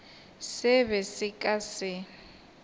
se be se ka se